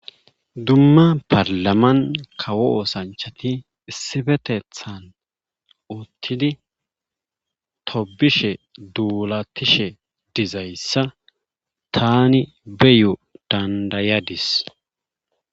dumma parlaman kawo oosanchati issibetethan uttidi tobishe duulatishe dizayssa tani beyo dandayadis